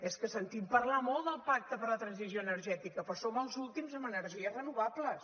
és que sentim parlar molt del pacte per a la transició energètica però som els últims amb energies renovables